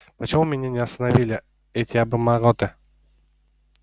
почему меня не остановили эти обормоты